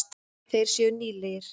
Þeir séu nýlegir.